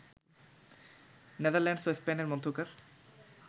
Netherlands ও স্পেনের মধ্যকার